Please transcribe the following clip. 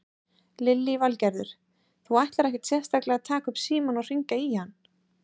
Lillý Valgerður: Þú ætlar ekkert sérstaklega að taka upp símann og hringja í hann?